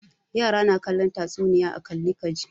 Yara na kallon tatsuniya a kalli ka ji.